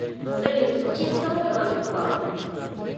салют в честь кого иван купала